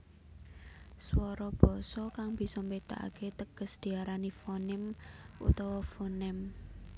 Swara basa kang bisa mbédakake teges diarani fonim utawa fonèm